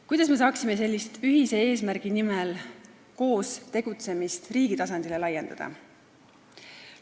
Kuidas me saaksime sellist ühise eesmärgi nimel koos tegutsemist riigi tasandile laiendada?